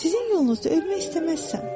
Sizin yolunuzda ölmək istəməzsən.